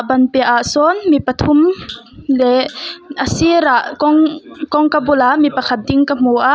ban piah ah sawn mi pathum leh a sirah kawng kawngka bulah mipakhat ding ka hmu a.